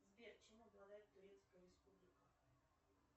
сбер чем обладает турецкая республика